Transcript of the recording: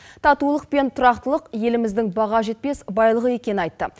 татулық пен тұрақтылық еліміздің баға жетпес байлығы екенін айтты